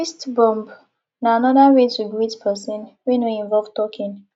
fist bump na anoda way to greet person wey no involve talking